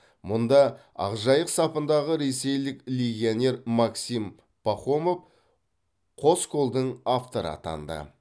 мұнда ақжайық сапындағы ресейлік легионер максим пахомов қос голдың авторы атанды